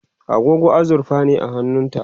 agogo azurfa ne a hannunta